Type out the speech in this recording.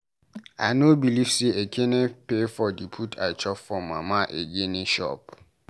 I no believe say Ekene pay for the food I chop for Mama ogene shop.